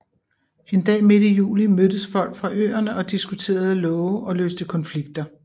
En dag midt i juli mødtes folk fra øerne og diskuterede love og løste konflikter